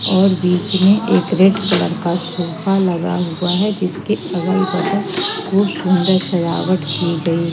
और बीच में एक रेड कलर का सोफा लगा हुआ है जिसके अगल बगल खूब सुंदर सजावट की गई।